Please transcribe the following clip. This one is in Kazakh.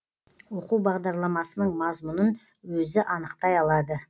оқу бағдарламасының мазмұнын өзі анықтай алады